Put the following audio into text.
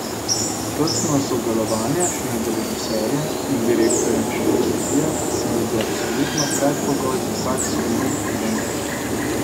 Tesno sodelovanje med režiserjem in direktorjem fotografije se mi zdi absolutno predpogoj za vsak soliden film.